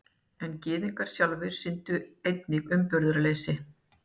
En Gyðingar sjálfir sýndu einnig umburðarleysi.